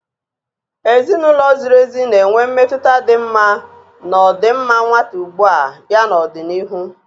Ezinụlọ ziri ezi na-enwe mmetụta dị mma na ọdịmma nwata ugbu a ya na n'ọdịnihu.